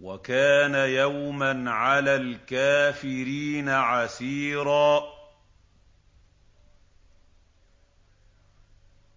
وَكَانَ يَوْمًا عَلَى الْكَافِرِينَ عَسِيرًا